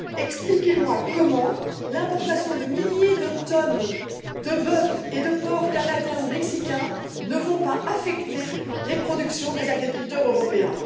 Expliquez moi comment l'importation de milliers de tonnes de bœuf et de porc canadien ou mexicain ne va pas affecter les productions des agriculteurs européens?